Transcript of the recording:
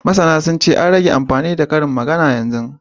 Masana sun ce, an rage amfani da karin magana yanzu